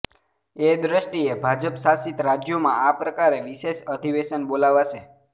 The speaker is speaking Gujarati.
એ દૃષ્ટિએ ભાજપ શાસિત રાજ્યોમાં આ પ્રકારે વિશેષ અધિવેશન બોલાવાશે